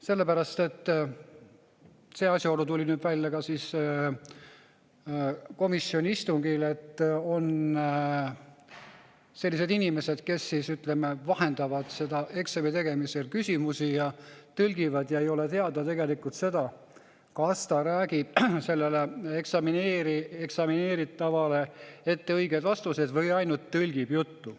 Sellepärast – see asjaolu tuli nüüd välja ka komisjoni istungil –, et on sellised inimesed, kes vahendavad eksami tegemisel küsimusi ja tõlgivad, ja tegelikult ei ole teada, kas nad sellele eksamineeritavale ette õigeid vastuseid või ainult tõlgivad juttu.